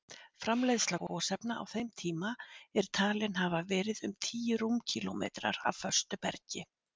Framleiðsla gosefna á þeim tíma er talin hafa verið um tíu rúmkílómetrar af föstu bergi.